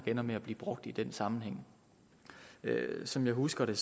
ender med at blive brugt i den sammenhæng som jeg husker det